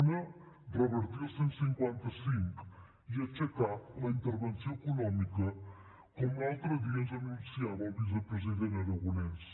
una revertir el cent i cinquanta cinc i aixecar la intervenció econòmica com l’altre dia ens anunciava el vicepresident aragonès